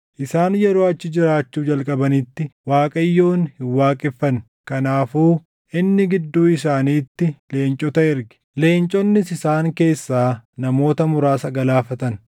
Isaan yeroo achi jiraachuu jalqabanitti Waaqayyoon hin waaqeffanne; kanaafuu inni gidduu isaaniitti leencota erge; leenconnis isaan keessaa namoota muraasa galaafatan.